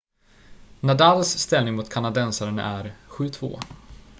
nadals ställning mot kanadensaren är 7-2